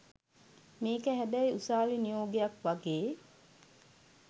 මේක හැබැයි උසාවි නියෝගයක් වගේ